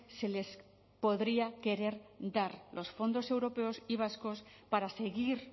se les podría querer dar los fondos europeos y vascos para seguir